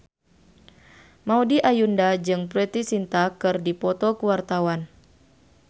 Maudy Ayunda jeung Preity Zinta keur dipoto ku wartawan